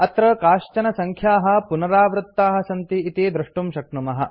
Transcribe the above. अत्र काश्चन सङ्ख्याः पुनरावृत्ताः सन्ति इति द्रष्टुं शक्नुमः